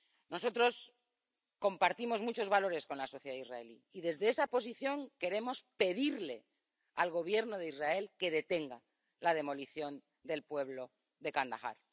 Nosotros compartimos muchos valores con la sociedad israelí y, desde esa posición, queremos pedirle al Gobierno de Israel que detenga la demolición del pueblo de Jan al Ahmar.